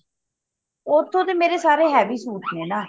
ਓਥੋਂ ਤੇ ਮੇਰੇ ਸਾਰੇ heavy ਸੂਟ ਨੇ ਨਾ